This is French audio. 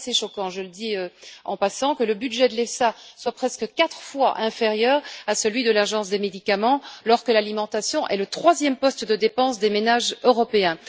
Je trouve assez choquant je le dis en passant que le budget de l'EFSA soit presque quatre fois inférieur à celui de l'Agence européenne des médicaments, alors que l'alimentation est le troisième poste de dépenses des ménages européens.